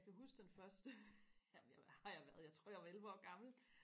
jeg kan huske den første jamen jeg var hvad har jeg været jeg tror jeg var elleve år gammel